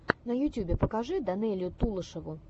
на ютьюбе покажи данелию тулешову